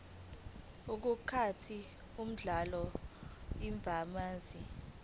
iqukathe uhlamvu lwamazwi